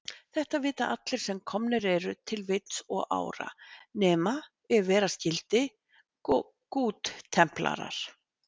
Þetta vita allir, sem komnir eru til vits og ára, nema ef vera skyldi goodtemplarar.